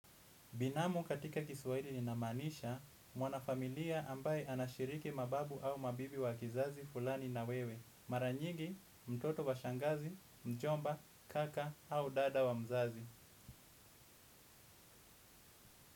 Binamu katika kiswahidi ni namanisha, mwana familia ambaye anashiriki mababu au mabibi wa kizazi fulani na wewe. Mara nyingi mtoto wa shangazi mjomba kaka au dada wa mzazi.